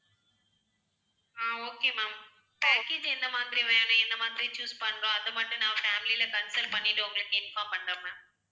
ஆஹ் okay ma'am package எந்த மாதிரி வேணும் எந்த மாதிரி choose பண்ணலாம் அதை மட்டும் நான் family ல consult பண்ணிட்டு உங்களுக்கு inform பண்றேன் ma'am